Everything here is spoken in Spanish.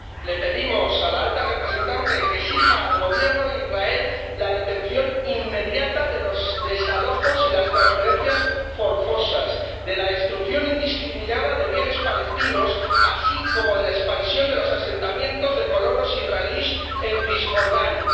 Le pedimos a la Alta Representante que exija al Gobierno de Israel la detención inmediata de los desalojos y las transferencias forzosas, de la destrucción indiscriminada de bienes palestinos, así como de la expansión de los asentamientos de colonos israelíes en Cisjordania.